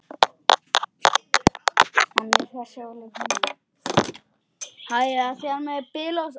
En þessi er ólíkur hinum.